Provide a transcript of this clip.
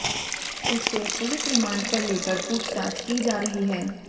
उसे police remand पर लेकर पूछताछ की जा रही है